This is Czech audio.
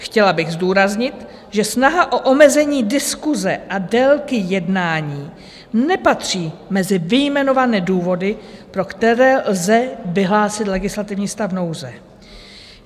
Chtěla bych zdůraznit, že snaha o omezení diskuse a délky jednání nepatří mezi vyjmenované důvody, pro které lze vyhlásit legislativní stav nouze.